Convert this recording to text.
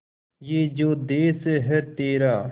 ये जो देस है तेरा